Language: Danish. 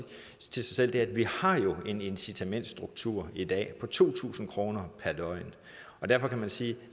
til sig selv er at vi jo har en incitamentsstruktur i dag det koster to tusind kroner per døgn derfor kan man sige at